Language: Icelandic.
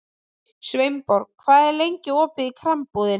Sveinborg, hvað er lengi opið í Krambúðinni?